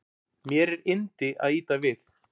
Mér er yndi að ýta við